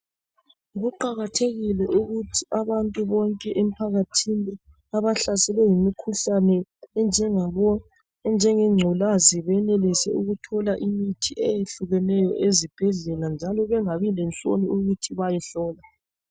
Kuqakathekile ukuthi abantu bonke emphakathini , abahlaselwe yimikhuhlane enjengabo enjengengculazi .Benelise ukuthola imithi eyehlukeneyo ezibhedlela njalo bengabi lenhloni ukuthi bayehlolwa.